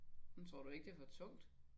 Men tror du ikke det er for tungt?